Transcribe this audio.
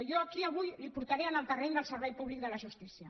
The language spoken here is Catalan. jo aquí avui el portaré al terreny del servei públic de la justícia